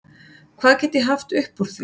Hvað get ég haft upp úr því?